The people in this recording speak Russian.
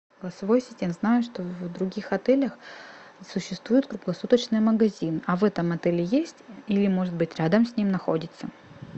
голосовой ассистент знаю что в других отелях существует круглосуточный магазин а в этом отеле есть или может быть рядом с ним находится